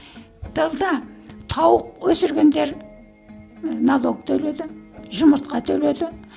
тылда тауық өсіргендер ыыы налог төледі жұмыртқа төледі